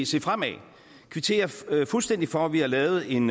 se fremad og kvittere fuldstændig for at vi har lavet en